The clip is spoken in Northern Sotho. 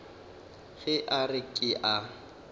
ge a re ke a